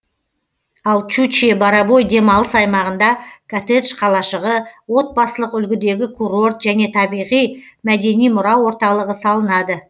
ал шучье бурабай демалыс аймағында коттедж қалашығы отбасылық үлгідегі курорт және табиғи мәдени мұра орталығы салынады